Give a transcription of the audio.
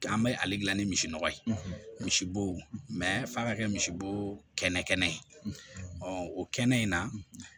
An bɛ ale dilan ni misi nɔgɔ ye misibo mɛ f'a ka kɛ misibo kɛnɛ kɛnɛ ye ɔ o kɛnɛ in na